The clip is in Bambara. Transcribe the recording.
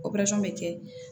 bɛ kɛ